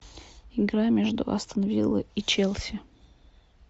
игра между астон виллой и челси